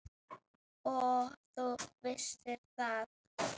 Og þú vissir það.